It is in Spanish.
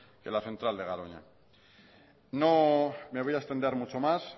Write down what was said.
que la central de garoña no me voy a extender mucho más